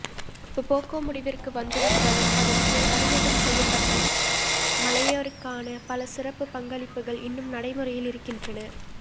புபொகொ முடிவிற்கு வந்துவிட்டாலும் அதன் கீழ் அறிமுகம் செய்யப்பட்ட மலேயருக்கான பல சிறப்பு பங்களிப்புகள் இன்னும் நடைமுறையில் இருக்கின்றன